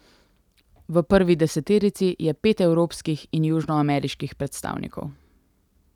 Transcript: V prvi deseterici je pet evropskih in južnoameriških predstavnikov.